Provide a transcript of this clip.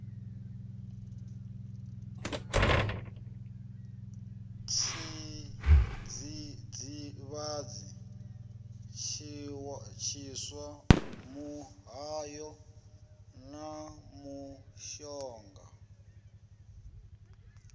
tshidzidzivhadzi tshiswa muhayo na mushonga